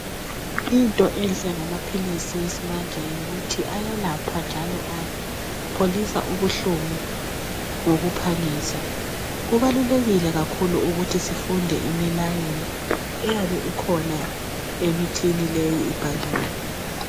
Into enhle ngamaphilisi esimanje yikuthi ayalapha njalo apholisa ubuhlungu ngokuphangisa. Kubalulekile kakhulu ukuthi sifunde imilayelo eyabe ikhona emithini leyo ibhaliwe.